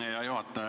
Hea juhataja!